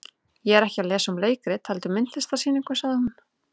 Ég er ekki að lesa um leikrit heldur myndlistarsýningu, sagði hún.